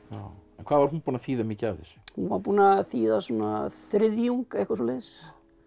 hvað var hún búin að þýða mikið af þessu hún var búin að þýða svona þriðjung eitthvað svoleiðis